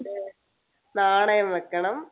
നാണയം വെക്കണം